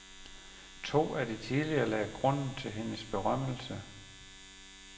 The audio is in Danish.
To af de tidligere lagde grunden til hendes berømmelse.